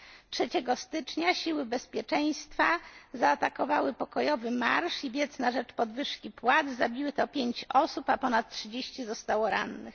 Dnia 3 stycznia siły bezpieczeństwa zaatakowały pokojowy marsz i wiec na rzecz podwyżki płac, zabito 5 osób, a ponad 30 zostało rannych.